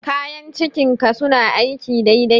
Kayan cikin ka suna aiki dai dai?